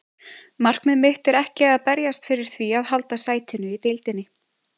Markmið mitt er ekki að berjast fyrir því að halda sætinu í deildinni.